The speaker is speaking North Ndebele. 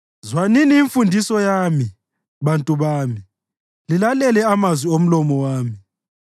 Zwanini imfundiso yami, bantu bami; lilalele amazwi omlomo wami.